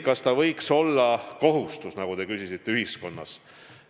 Kas ta võiks olla kohustus ühiskonnas?